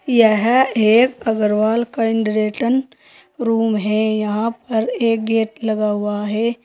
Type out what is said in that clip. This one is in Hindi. यह एक अग्रवाल काइंडरेटन रूम है यहां पर एक गेट लगा हुआ है।